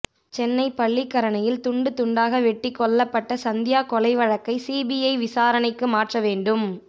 சென்னை பள்ளிக்கரணையில் துண்டு துண்டாக வெட்டிக் கொல்லப்பட்ட சந்தியா கொலை வழக்கை சிபிஐ விசாரணைக்கு மாற்ற வேண்டும்